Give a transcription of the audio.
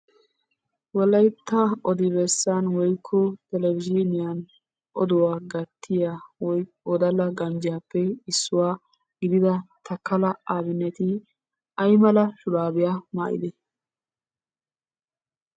Wolaytta odi bessan woykko telebezhiniyan oduwa gatiya wodalla ganjjiyappe issuwa gidida Takala Abineti aymala shuraabiya maayidee?